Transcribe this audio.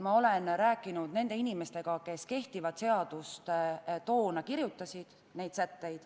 Ma olen rääkinud nende inimestega, kes kehtivat seadust toona kirjutasid.